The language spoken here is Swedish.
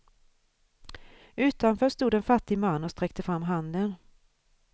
Utanför stod en fattig man och sträckte fram handen.